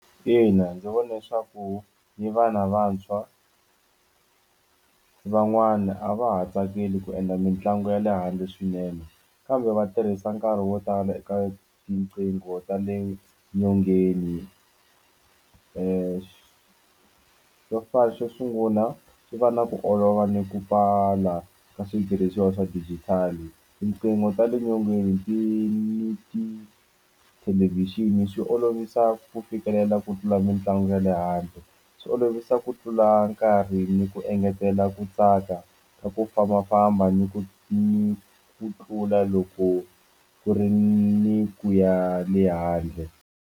Ina ndzi vona leswaku ni vana vantshwa ni van'wana a va ha tsakeli ku endla mitlangu ya le handle swinene kambe va tirhisa nkarhi wo tala eka tinqingho ta le nyongeni xo sungula ku fanele ku olova ni ku pfala ka switirhisiwa swa digital tinqingho ta le nyongeni ti ni tithelevhixini swi olovisa ku fikelela ku tlula mitlangu ya le handle swi olovisa ku tlula nkarhi ni ku engetela ku tsaka ka ku fambafamba ni ku ni ku tlula loko ku ri ni ku ya le handle.